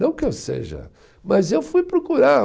Não que eu seja, mas eu fui procurar.